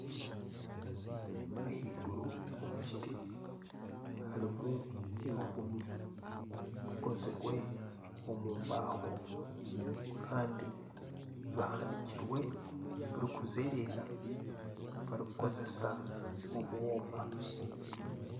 Ahaiguru omu kiti harimu ebihumi bikozirwe omu mbaho Kandi bihanikire birikuzereera barikukozesa obwoma